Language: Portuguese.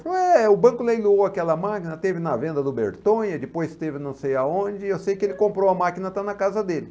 Falei, é, o banco leiloou aquela máquina, teve na venda do Bertonha, depois teve não sei aonde, eu sei que ele comprou a máquina, está na casa dele.